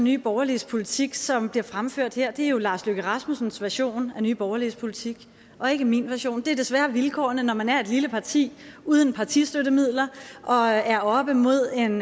nye borgerliges politik som bliver fremført her er jo lars løkke rasmussens version af nye borgerliges politik og ikke min version det er desværre vilkårene når man er et lille parti uden partistøttemidler og er oppe mod en